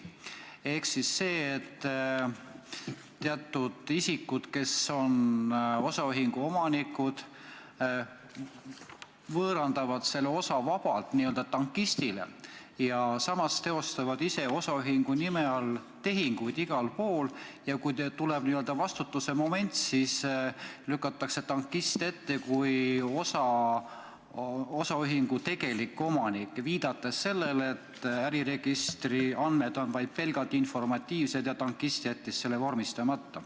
Ehk see, et teatud isikud, kes on osaühingu omanikud, võõrandavad selle osa vabalt n-ö tankistile, samas teevad ise osaühingu nime all tehinguid igal pool ja kui tekib n-ö vastutusemoment, siis lükatakse tankist ette, osaühingu tegelik omanik viitab sellele, et äriregistri andmed on vaid pelgalt informatiivsed ja tankist jättis vormistamata.